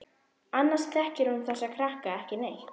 Annars þekkir hún þessa krakka ekki neitt.